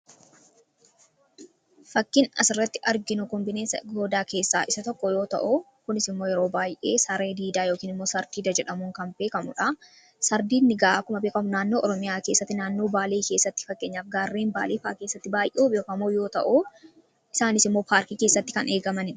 Fakkiin as irratti arginu kan bineensa goodaa keessaa isa tokko yoo ta'u kunis immoo yeroo baay'ee saree diidaa yookin immoo sardiida jedhaamuun kan beekkamudha.